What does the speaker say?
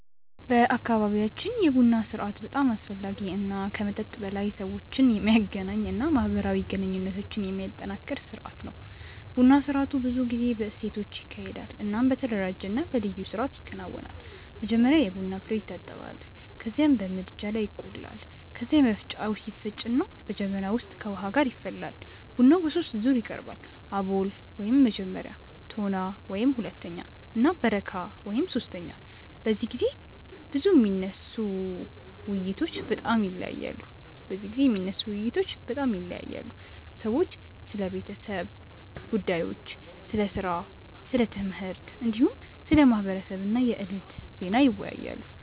በአካባቢያችን የቡና ስርአት በጣም አስፈላጊ እና ከመጠጥ በላይ ሰዎችን የሚያገናኝ እና ማህበራዊ ግንኙነትን የሚያጠናክር ስርአት ነው። ቡና ስርአቱ ብዙ ጊዜ በሴቶች ይካሄዳል እናም በተደራጀ እና በልዩ ስርአት ይከናወናል። መጀመሪያ የቡና ፍሬዉ ይታጠባል ከዚያም በምድጃ ላይ ይቆላል። ከዚያ በመፍጫ ይፈጭና በጀበና ውስጥ ከውሃ ጋር ይፈላል። ቡናው በሶስት ዙር ይቀርባል፤ አቦል (መጀመሪያ)፣ ቶና (ሁለተኛ) እና በረካ (ሶስተኛ)። በዚህ ጊዜ የሚነሱ ውይይቶች በጣም ይለያያሉ። ሰዎች ስለ ቤተሰብ ጉዳዮች፣ ስለ ሥራ፣ ስለ ትምህርት፣ እንዲሁም ስለ ማህበረሰብ እና የዕለቱ ዜና ይወያያሉ።